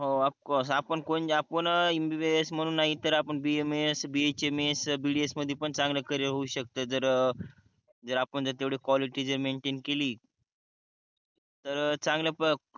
of course आपुन कोण जापून MBBS म्हणून नाही तर आपुन BAMSBHMSBDS मध्ये पन चांगला करियर होऊ शकते जर जर आपण जर तेवडी क्वालिटी जर मेंटेन केली तर चांगल्या